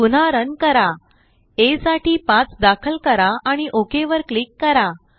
पुन्हा रन करा aसाठी5दाखल करा आणि ओक वर क्लिक करा